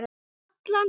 Allan þennan tíma.